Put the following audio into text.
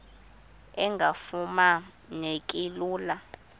engafuma neki lula